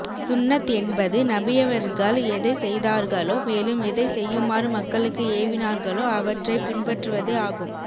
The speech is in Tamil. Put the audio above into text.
சுன்னத் என்பது நபியவர்கள் எதை செய்தார்களோ மேலும் எதை செய்யுமாறு மக்களுக்கு ஏவினார்களோ அவற்றை பின்பற்றுவதே ஆகும்